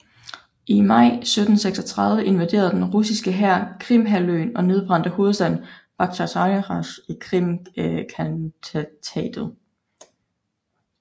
I maj 1736 invaderede den russiske hær Krimhalvøen og nedbrændte hovedstaden Bakhtjisaraj i Krimkhantatet